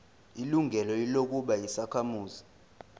ilungelo lokuba yisakhamuzi